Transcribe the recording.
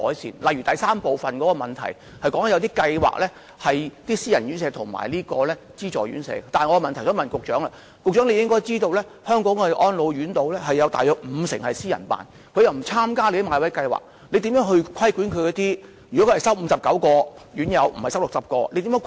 主體答覆第三部分是有關私人院舍和資助院舍的計劃，我的質詢是，局長應知道香港的安老院約五成是由私人開辦的，如果它們不參加政府的買位計劃，政府如何規管它們呢？